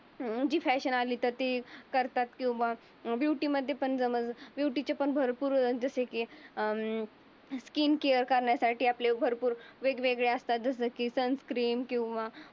Modi fashion आली तर ते करतात. किंवा ब्युटी मध्ये पण जमन. ब्युटी चे पण भरपूर जसे की अं स्किन केअर करण्यासाठी आपले भरपूर वेगवेगळ्या असतात. जसे की सन क्रीम किंवा